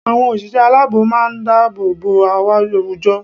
Àwọn òṣìṣẹ́ aláàbò má a ń dáàbò bo àwùjọ